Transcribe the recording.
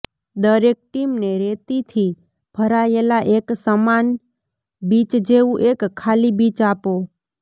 દરેક ટીમને રેતીથી ભરાયેલા એક સમાન બીચ જેવું એક ખાલી બીચ આપો